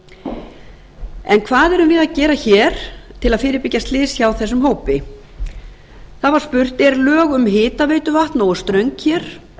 yngingarmeðalið en hvað erum við að gera hér til að fyrirbyggja slys hjá þessum hópi það var spurt eru lög um hitaveituvatn nógu ströng